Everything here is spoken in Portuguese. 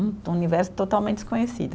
Um um universo totalmente desconhecido.